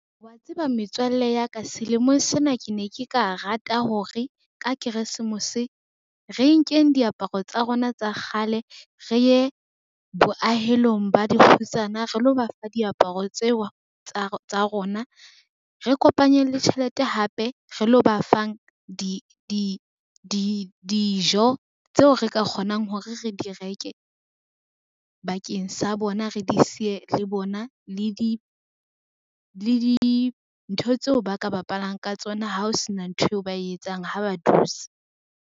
Wa tseba metswalle ya ka selemong sena ke ne ke ka rata hore ka Keresemose, re nkeng diaparo tsa rona tsa kgale, re ye boahelong ba dikgutsana re lo bafa diaparo tseo tsa rona. Re kopanyeng le tjhelete hape re lo ba fang dijo tseo re ka kgonang hore re di reke bakeng sa bona, re di siye le bona le dintho tseo ba ka bapalang ka tsona ha o sena ntho eo ba e etsang ha ba dutse.